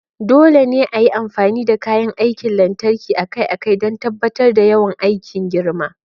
Dole ne a yi amfani da kayan aikin lantarki akai-akai don tabbatar da yawan aikin girma.